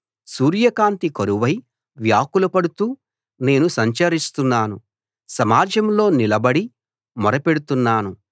సూర్య కాంతి కరువై వ్యాకులపడుతూ నేను సంచరిస్తున్నాను సమాజంలో నిలబడి మొరపెడుతున్నాను